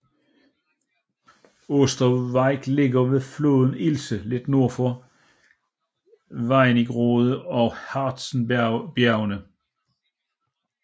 Osterwieck ligger ved floden Ilse lidt nord for Wernigerode og Harzenbjergene